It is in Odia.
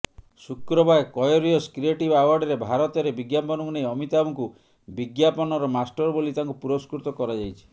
ଶୁକ୍ରବାର କୟୋରିଅସ କ୍ରିଏଟିଭ ଆୱାର୍ଡରେ ଭାରତରେ ବିଜ୍ଞାପନକୁ ନେଇ ଅମିତାଭଙ୍କୁ ବିଜ୍ଞାପନର ମାଷ୍ଟର ବୋଲି ତାଙ୍କୁ ପୁରସ୍କୃତ କରାଯାଇଛି